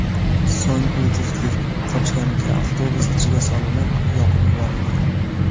So‘ng u juftlik qochgan mikroavtobus ichiga solinib, yoqib yuborilgan.